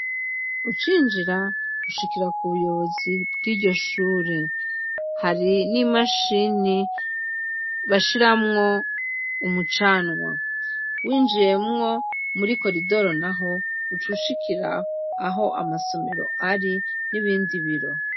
Ucinjira ushikira ku buyobozi bw' iryo shure hari n' imashini bashiramwo umucanwa winjiyemwo muri koridoro naho uca ushikira aho amasomero ari n' ibindi biro.